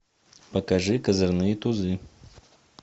покажи козырные тузы